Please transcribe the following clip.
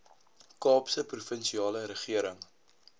kaapse provinsiale regering